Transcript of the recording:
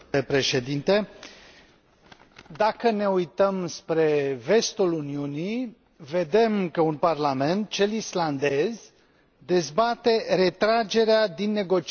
Dacă ne uităm spre vestul Uniunii, vedem că un parlament, cel islandez, dezbate retragerea din negocierile de aderare la Uniunea Europeană.